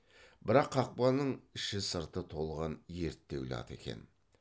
бірақ қақпаның іші сырты толған ерттеулі ат екен